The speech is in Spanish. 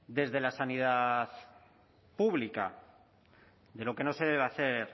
desde la sanidad pública de lo que no se debe hacer